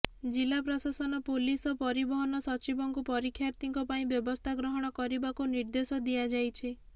ଜିଲ୍ଲା ପ୍ରଶାସନ ପୋଲିସ ଓ ପରିବହନ ସଚିବଙ୍କୁ ପରୀକ୍ଷାର୍ଥୀଙ୍କ ପାଇଁ ବ୍ୟବସ୍ଥା ଗ୍ରହଣ କରିବାକୁ ନିର୍ଦ୍ଦେଶ ଦିଆଯାଇଛି